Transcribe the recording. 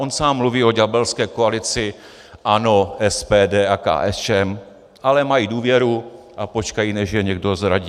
On sám mluví o ďábelské koalici ANO, SPD a KSČM, ale mají důvěru a počkají, než je někdo zradí.